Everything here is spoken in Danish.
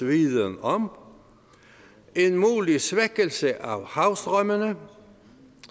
viden om en mulig svækkelse af havstrømmene en